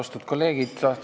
Austatud kolleegid!